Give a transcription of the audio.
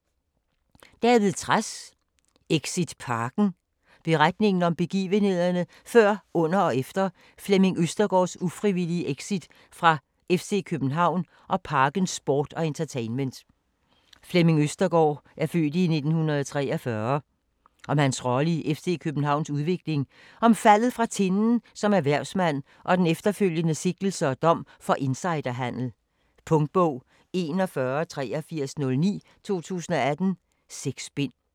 Trads, David: Exit Parken Beretning om begivenhederne før, under og efter Flemming Østergaards (f. 1943) ufrivillige exit fra FC København og Parken Sport & Entertainment. Om hans rolle i FC Københavns udvikling, om faldet fra tinden som erhvervsmand og den efterfølgende sigtelse og dom for insiderhandel. Punktbog 418309 2018. 6 bind.